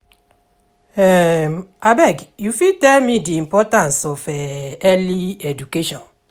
abeg u fit tell me di importance of early education?